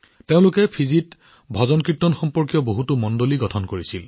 তেওঁলোকে ফিজিত ভজনকীৰ্তনৰ সৈতে সম্পৰ্কিত বহুতো মণ্ডলী গঠন কৰিছিল